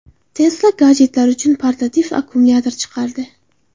Tesla gadjetlar uchun portativ akkumulyator chiqardi.